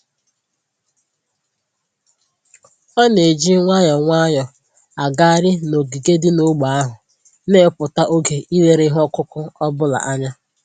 Ọ na-eji nwayọọ nwayọọ agagharị n'ogige dị n'ógbè ahụ, na-ewepụta oge ileru ihe ọkụkụ ọ bụla anya